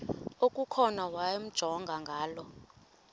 okukhona wamjongay ngaloo